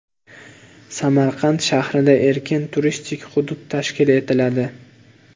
Samarqand shahrida erkin turistik hudud tashkil etiladi.